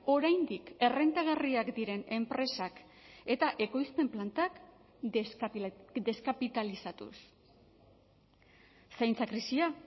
oraindik errentagarriak diren enpresak eta ekoizpen plantak deskapitalizatuz zaintza krisia